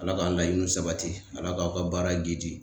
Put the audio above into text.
Ala k'an laɲiniw sabati Ala k'aw ka baara giidi.